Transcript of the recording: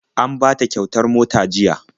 An bata kyautar mota jiya..